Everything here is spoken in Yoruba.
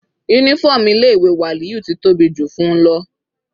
Uniform ilé ìwé Waliyu ti tóbi jù fún-un lọ.